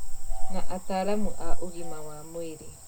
Na ataaramu a ũgima wa mwĩrĩ